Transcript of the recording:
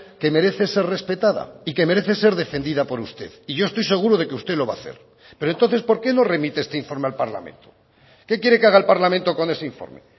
que merece ser respetada y que merece ser defendida por usted y yo estoy seguro de que usted lo va a hacer pero entonces porque nos remite este informe al parlamento qué quiere que haga el parlamento con ese informe